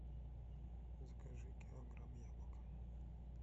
закажи килограмм яблок